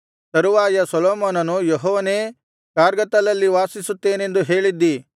ತರುವಾಯ ಸೊಲೊಮೋನನು ಯೆಹೋವನೇ ಕಾರ್ಗತ್ತಲಲ್ಲಿ ವಾಸಿಸುತ್ತೇನೆಂದು ಹೇಳಿದ್ದೀ